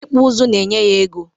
Ịkpụ ụzụ na-enye ya ego.